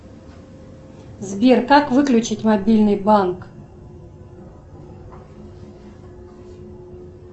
сбер как выключить мобильный банк